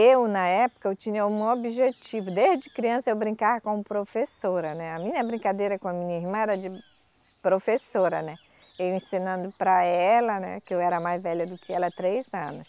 Eu, na época, eu tinha um objetivo, desde criança eu brincava como professora, né, a minha brincadeira com a minha irmã era de professora, né, eu ensinando para ela, né, que eu era mais velha do que ela, três anos.